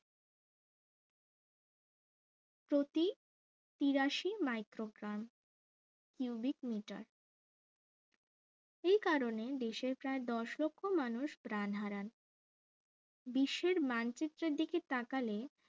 তিরাশি microcon cubic meter এই কারণে দেশের প্রায় দশ লক্ষ মানুষ প্রাণ হারান বিশ্বের মানচিত্রের দিকে তাকালে